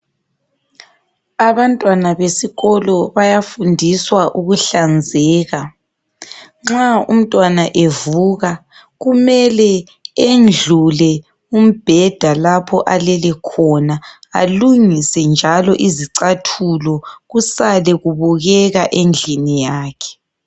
Abantwana besikolo bayafundiswa ukuhlanzeka . Nxa umntwana evuka kumele endlule umbheda lapho alele khona alungise njalo izicathulo kusale kubukeka endlini yakhe.